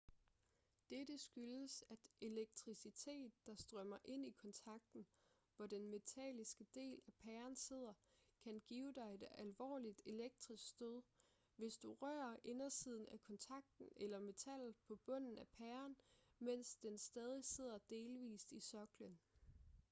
dette skyldes at elektricitet der strømmer ind i kontakten hvor den metalliske del af pæren sidder kan give dig et alvorligt elektrisk stød hvis du rører indersiden af kontakten eller metallet på bunden af pæren mens den stadig sidder delvist i soklen